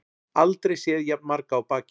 Aldrei séð jafn marga á baki